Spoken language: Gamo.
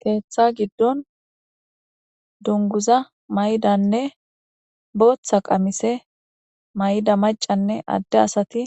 Keeththa giddon dunguza maydanne booththa qamise mayda macanne adde asati